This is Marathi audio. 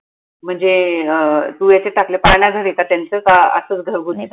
म्हनजे अं तु हयाच्यात टाकल पाळणाघरआहे का त्यांच का असच घरगुती?